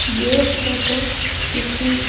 ये फोटो किसी--